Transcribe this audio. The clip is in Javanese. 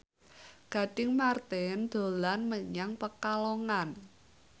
Gading Marten dolan menyang Pekalongan